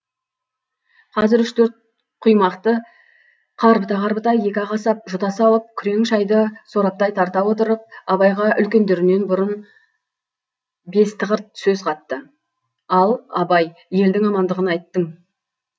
қазір үш төрт құймақты қарбыта қарбыта екі ақ асап жұта салып күрең шайды сораптай тарта отырып абайға үлкендерінен бұрын бестіқырт сөз қатты ал абай елдің амандығын айттың